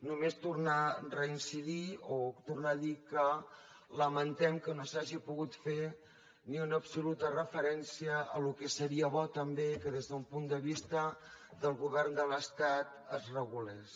només tornar a reincidir o tornar a dir que lamentem que no s’hagi pogut fer ni una absoluta referència que seria bo també que des d’un punt vista del govern de l’estat es regulés